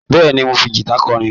Bẹ́ẹ̀ni, mò ń fi gìta kọrin